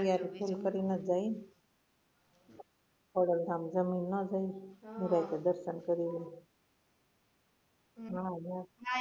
હવે પછી યાર ફોન કરી ને જ જાયે ને ખોડલ ધામ જમી ને ન જાયે દર્શન કરીને